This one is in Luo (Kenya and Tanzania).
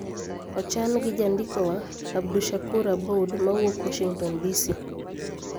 Ochan gi jandikowa, Abdushakur Aboud, mawuok Washington, DC.